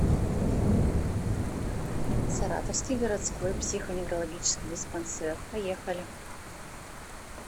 саратовский городской психоневрологический диспансер поехали